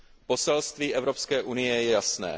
Poselství Evropské unie je jasné.